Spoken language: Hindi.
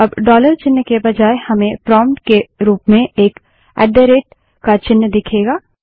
अब डॉलर चिन्ह के बजाय हमें प्रोम्प्ट के रूप में एक ऐट द रेट का चिन्ह दिखेगा